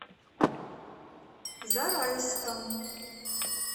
зарайском